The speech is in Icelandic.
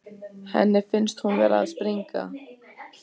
Henni finnst hún vera að springa.